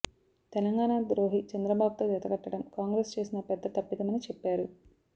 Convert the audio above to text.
తెలంగాణ ద్రోహి చంద్రబాబుతో జతకట్టడం కాంగ్రెస్ చేసిన పెద్ద తప్పిదమని చెప్పారు